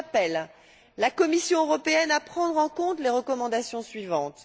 J'appelle la Commission européenne à prendre en compte les recommandations suivantes.